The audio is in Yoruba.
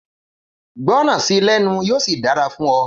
Gbọràn sí lẹ́nu yíò sì dára fún ọ